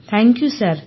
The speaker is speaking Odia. ଧନ୍ୟବାଦ ସାର